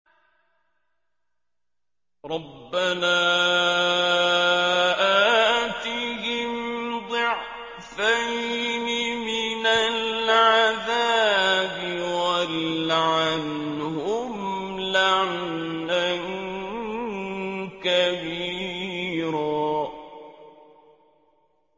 رَبَّنَا آتِهِمْ ضِعْفَيْنِ مِنَ الْعَذَابِ وَالْعَنْهُمْ لَعْنًا كَبِيرًا